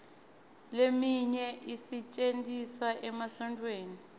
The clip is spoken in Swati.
leminye isetjentiswa emasontfweni